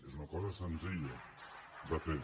és una cosa senzilla de fer